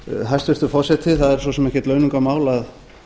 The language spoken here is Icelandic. hæstvirtur forseti það er svo sem ekkert launungarmál að